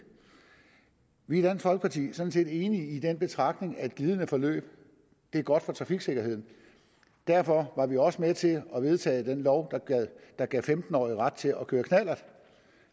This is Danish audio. vi er i dansk folkeparti sådan set enige i den betragtning at et glidende forløb er godt for trafiksikkerheden derfor var vi også med til at vedtage den lov der gav femten årige ret til at køre knallert